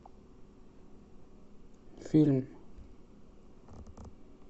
фильм